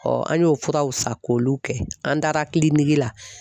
an y'o furaw san , k'olu kɛ an taara la.